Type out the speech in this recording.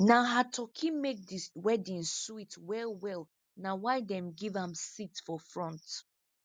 na her turkey make the wedding sweet well well na why them give am seat for front